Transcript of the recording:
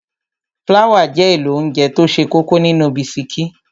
Fláwà jẹ́ èlò óńjẹ tó ṣe kókó nínú bisikí.